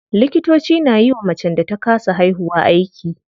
Likitoci na yiwa macen da ta kasa haihuwa aiki.